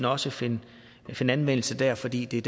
også finde anvendelse der fordi det